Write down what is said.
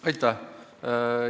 Aitäh!